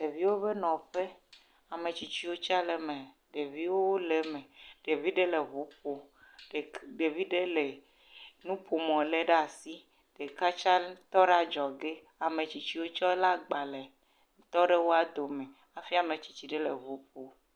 Ɖeviwo ƒe nɔƒe ametsitsiwo tse le eme, ɖeviwo le eme ɖevi ɖe le ŋu ƒom ɖevi ɖe le nuƒomɔ lém ɖe asi, ɖeka tsa tɔ ɖe adzɔge ametsitsiwo tse lé agbalẽ tɔ ɖe wo dome hai ame tsitsi ɖe le ŋu ƒom.